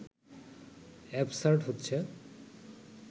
absurd হচ্ছে